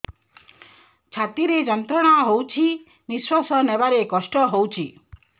ଛାତି ରେ ଯନ୍ତ୍ରଣା ହଉଛି ନିଶ୍ୱାସ ନେବାରେ କଷ୍ଟ ହଉଛି